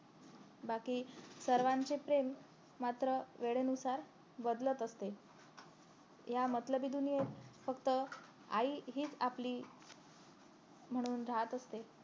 बाकी सर्वांचे प्रेम मात्र वेळेनुसार बदलत असते या मतलबी दुनियेत फक्त आई हीच आपली म्हणून रहात असते